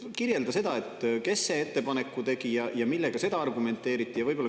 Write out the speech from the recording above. Kirjelda, kes selle ettepaneku tegi ja millega seda argumenteeriti.